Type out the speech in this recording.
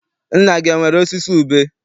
Nna gị enwere osisi ube?